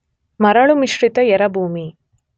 ಮರಳು ಮಿಶ್ರಿತ ಎರೆಭೂಮಿ